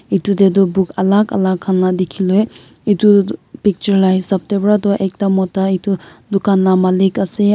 Etu te toh book alak alak khan la dekhi loi etu picture la hisap te para toh ekta mota etu dukan la malik ase aro--